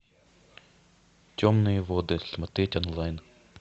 темные воды смотреть онлайн